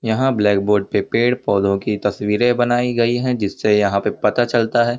यहाँ blackboard पे पेड़ पौधों की तस्वीरे बनाई गई है जिससे यहाँ पे पता चलता है--